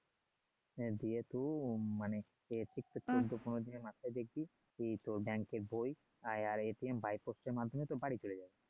হ্যাঁ দিয়ে তো মানে সে জন্য মানে এর বই আর এর পোস্টের মাধ্যমে তো বাড়ী চলে যাবে